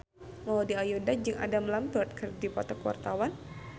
Maudy Ayunda jeung Adam Lambert keur dipoto ku wartawan